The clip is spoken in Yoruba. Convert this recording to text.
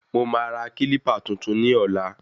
Mo máa ra kílípà tuntun ni ọ̀la